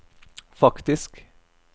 faktisk